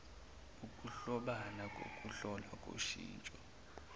ukuhlobana kokuhlolwa koshintsho